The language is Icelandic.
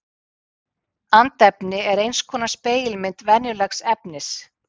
andefni er eins konar spegilmynd venjulegs efnis